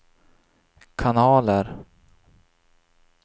kanaler